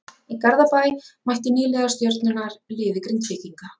Í Garðabæ mættu nýliðar Stjörnunnar liði Grindvíkinga.